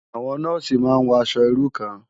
Awòn nòsí má n wò aṣò irú kán